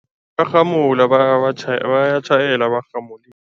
Bayarhamula bayatjhayela barhamulile.